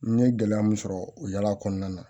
N ye gɛlɛya mun sɔrɔ o yaala kɔnɔna na